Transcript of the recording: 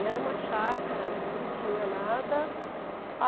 E era uma chácara, não tinha nada.